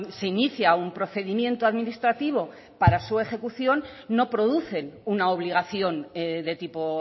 se inicia un procedimiento administrativo para su ejecución no producen una obligación de tipo